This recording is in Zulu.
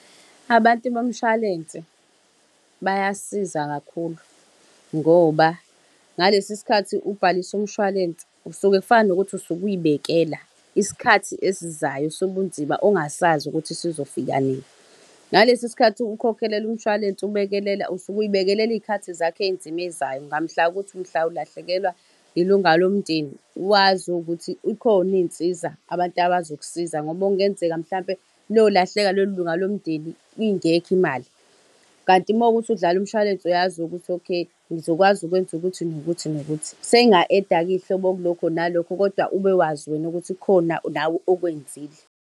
Abantu bomshwalense, bayasiza kakhulu ngoba, ngalesi sikhathi ubhalisa umshwalense, usuke kufana nokuthi usuke uy'bekela, isikhathi esizayo sobunzima, ongasazi ukuthi zizofika nini. Ngalesi sikhathi ukhokhelela umshwalense, ubekelela, usuke ubekelela iy'khathi zakho ey'nzima ey'zayo, ngamhla ukuthi mhla ulahlekelwa ilunga lomndeni, wazi ukuthi ikhona iy'nsiza, abantu abazokusiza ngoba okungenzeka mhlampe lolahleka lelo lunga lomndeni ingekho imali. Kanti makuwukuthi udlala umshwalense uyazi ukuthi okay, ngizokwazi ukwenza ukuthi nokuthi nokuthi. Senginga-add-a ke iy'hlobo kulokho nalokho kodwa ubewazi wena ukuthi kukhona okwenzile.